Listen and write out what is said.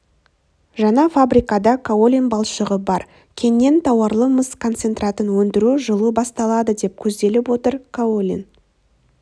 жаңа фабрикада каолин балшығы бар кеннен тауарлы мыс концентратын өндіру жылы басталады деп көзделіп отыр каолин